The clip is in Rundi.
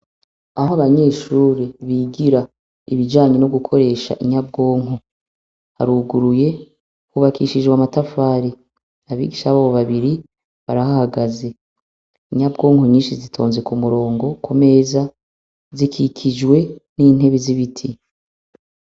Aho abanyeshuri bigira ibijanye no gukoresha inyabwonko, haruguruye. Hubakishijwe amatafari. Abigisha babo babiri barahahagaze. Inyabwonko nyinshi zitonze ku murongo ku meza zikikijwe n'intebe z'ibiti.